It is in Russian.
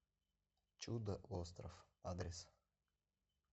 чудо остров адрес